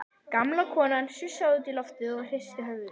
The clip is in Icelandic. Gamla konan sussaði út í loftið og hristi höfuðið.